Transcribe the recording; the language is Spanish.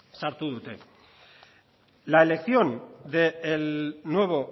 sartu dute la elección del nuevo